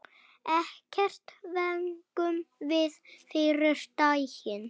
Ekkert fengum við fyrri daginn.